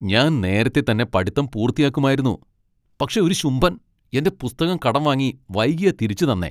ഞാൻ നേരത്തെ തന്നെ പഠിത്തം പൂർത്തിയാക്കുമായിരുന്നു, പക്ഷേ ഒരു ശുംഭൻ എന്റെ പുസ്തകം കടം വാങ്ങി വൈകിയാ തിരിച്ചു തന്നേ!